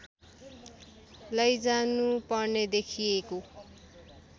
लैजानु पर्ने देखिएको